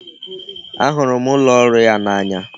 A hụrụ m ụlọ ọrụ ya n'anya